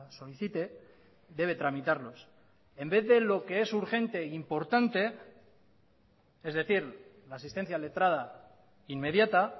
solicite debe tramitarlos en vez de lo que es urgente e importante es decir la asistencia letrada inmediata